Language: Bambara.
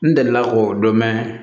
N delila k'o dɔn mɛ